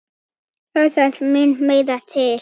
Það þarf mun meira til.